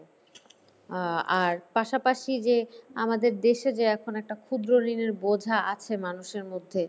আর পাশাপাশি যে আমাদের দেশে যে এখন একটা ক্ষুদ্র ঋণের বোঝা আছে মানুষের মধ্যে